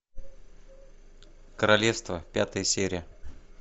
королевство пятая серия